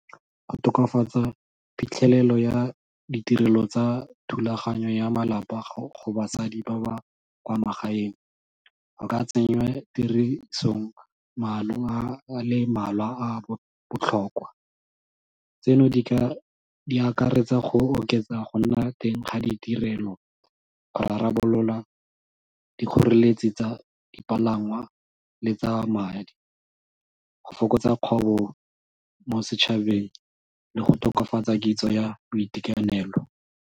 Go tokafatsa phitlhelelo ya ditirelo tsa thulaganyo ya malapa go basadi ba ba kwa magaeng go ka tsenngwa tirisong maano a le mmalwa a a botlhokwa. Tseno di akaretsa go oketsa go nna teng ga ditirelo go rarabolola dikgoreletsi tsa dipalangwa le tsa madi go fokotsa kgobo mo setšhabeng le go tokafatsa kitso ya boitekanelo.